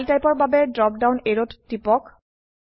file type এৰ বাবে drop down অ্যাৰোত টিপক